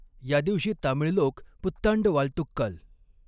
या दिवशी तामीळ लोक 'पुत्तांड वालतुक्कल!